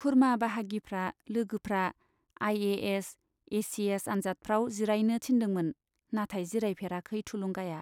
खुरमा बाहागिफ्रा, लोगोफ्रा I A S, A C S आन्जादफ्राव जिरायनो थिनदोंमोन, नाथाय जिरायफेराखै थुलुंगाया।